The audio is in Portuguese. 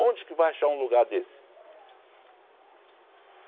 Onde que vai achar um lugar desse?